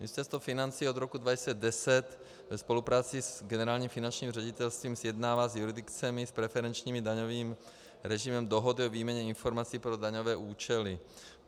Ministerstvo financí od roku 2010 ve spolupráci s Generálním finančním ředitelstvím sjednává s jurisdikcemi s preferenčním daňovým režimem dohody o výměně informací pro daňové účely.